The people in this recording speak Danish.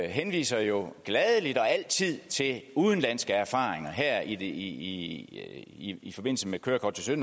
henviser jo gladelig og altid til udenlandske erfaringer her i i forbindelse med kørekort til